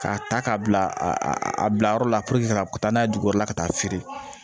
K'a ta k'a bila a bila yɔrɔ la ka taa n'a ye dugukɔrɔla ka taa feere